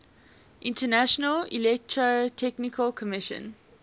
international electrotechnical commission